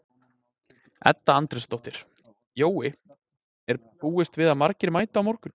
Edda Andrésdóttir: Jói, er búist við að margir mæti á morgun?